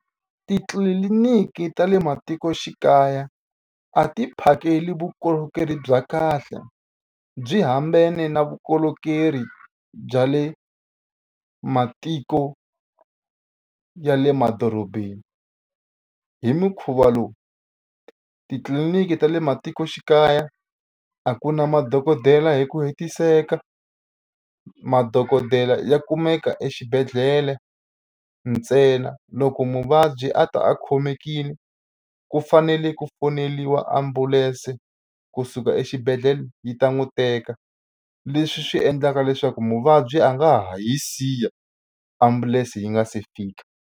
Titliliniki ta le matikoxikaya a ti phakeli vukorhokeri bya kahle byi hambene na vukorhokeri bya le matiko ya le madorobeni hi mukhuva lowu titliliniki ta le matikoxikaya a ku na madokodela hi ku hetiseka madokodela ya kumeka exibedhlele ntsena loko muvabyi a ta a khomekile ku fanele ku foneliwa ambulense kusuka exibedhlele yi ta n'wi teka leswi swi endlaka leswaku muvabyi a nga ha hi siya ambulense yi nga se fika.